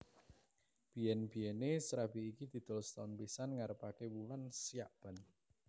Biyen biyene srabi iki didol setaun pisan ngarepake wulan Syakban